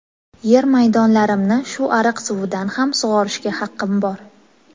Yer maydonlarimni shu ariq suvidan ham sug‘orishga haqqim bor.